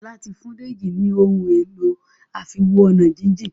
Ola tí fún Deji ní Ohun èlò àfiwo-ọ̀nàjíjìn.